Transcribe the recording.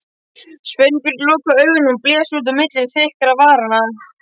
Sveinbjörn lokaði augunum og blés út á milli þykkra varanna.